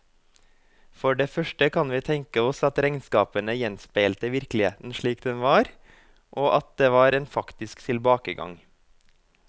For det første kan vi tenke oss at regnskapene gjenspeilte virkeligheten slik den var, og at det var en faktisk tilbakegang.